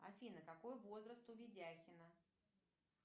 афина какой возраст у видяхина